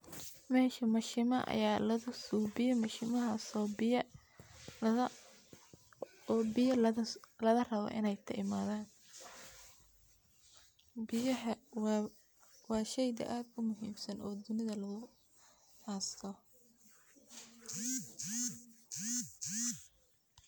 Meshaa mashimaa aya lagasubiye o larawo mashimahas iney biya kaimathan biyahaa washeyga ogumuhimsan o dunithaa lagunolankaroo